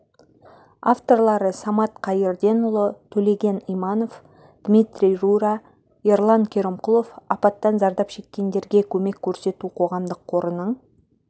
авторлары самат қайырденұлы төлеген иманов дмитрий рура ерлан керімқұлов апаттан зардап шеккендерге көмек көрсету қоғамдық қорының